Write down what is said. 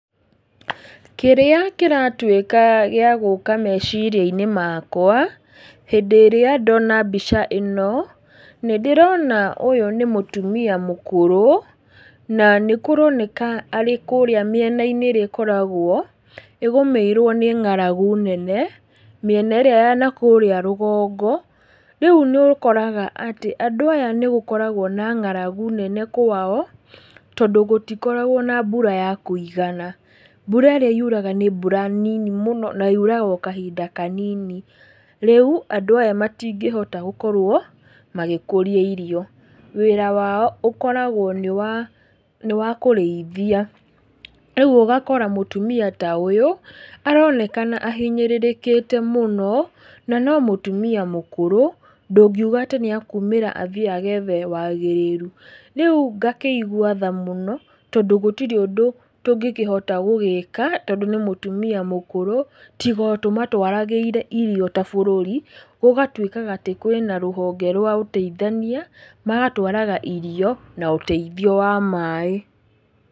Kĩrĩa kĩratuĩka gĩagũka meciria-inĩ makwa, hĩndĩ ĩrĩa ndona mbica ĩno, nĩ ndĩrona ũyũ nĩ mũtumia mũkũrũ, na nĩkũroneka arĩ kũrĩa mĩena-inĩ ĩrĩa ĩkoragwo ĩgũmĩirwo nĩ ng'aragu nene, mĩena ĩrĩa ya nakũrĩa rũgongo, rĩu nĩ ũkoraga atĩ, andũ aya nĩ gũkoragwo na ng'aragu nene, kũu kwao, tondũ gũtikoragwo na mbura ya kũigana. Mbura ĩrĩa yuraga nĩ mbura nini mũno, na yuraga o kahinda kanini. Rĩu, andũ aya matingĩhota gũkorwo magĩkũria irio. Wĩra wao ũkoragwo nĩ wakũrĩithia. Rĩu, ũgakora mũtumia ta ũyũ, aronekana ahinyĩrĩrĩkĩte na nomũtumia mũkũrũ, ndũngiuga nĩ ekũma athiĩ agethe wagĩrĩru. Rĩu ngakĩigua tha mũno, tondũ gũtirĩ ũndũ tũngĩkĩhota gũgĩka, tondũ nĩ mũtumia mũkũrũ, tiga o tũmatwarĩire irio tabũrũri, gũgatuĩkaga atĩ kwĩna rũhonge rwa ũteithania, magatwaraga irio, na ũteithio wa maaĩ.